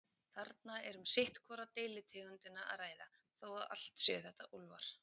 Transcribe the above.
Þarna er um sitt hvora deilitegundina að ræða, þó allt séu þetta úlfar.